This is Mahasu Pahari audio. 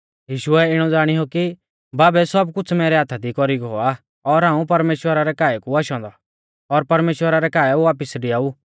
यीशुऐ इणौ ज़ाणीऔ कि बाबै सब कुछ़ मैरै हाथा दी कौरी गौ आ और हाऊं परमेश्‍वरा रै काऐ कु आशौ औन्दौ और परमेश्‍वरा रै काऐ वापिस डिआऊ